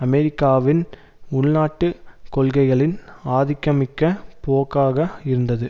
அமெரிக்காவின் உள்நாட்டு கொள்கைகளின் ஆதிக்கமிக்க போக்காக இருந்தது